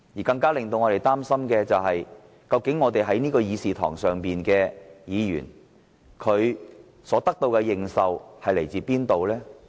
更令我們擔心的是，這議事堂上的議員所得的認受性，究竟從何而來？